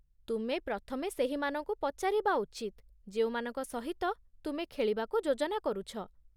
ତୁମେ ପ୍ରଥମେ ସେହିମାନଙ୍କୁ ପଚାରିବା ଉଚିତ ଯେଉଁମାନଙ୍କ ସହିତ ତୁମେ ଖେଳିବାକୁ ଯୋଜନା କରୁଛ।